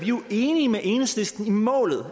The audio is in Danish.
jo enige med enhedslisten i målet